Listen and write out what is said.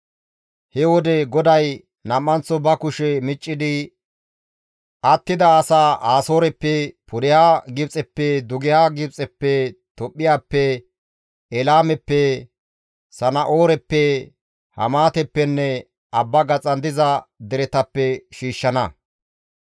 He wode GODAY nam7anththo ba kushe miccidi attida asaa Asooreppe, pudeha Gibxeppe, dugeha Gibxeppe, Tophphiyappe, Elaameppe, Sana7ooreppe, Hamaateppenne abba gaxan diza deretappe shiishshana.